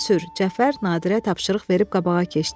Cəfər Nadirə tapşırıq verib qabağa keçdi.